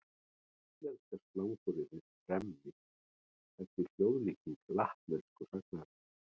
Íslenska slanguryrðið tremmi er því hljóðlíking latnesku sagnarinnar.